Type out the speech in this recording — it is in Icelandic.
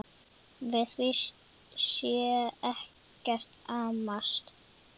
Við því sé ekkert amast.